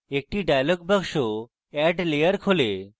একটি dialog box add layer খোলে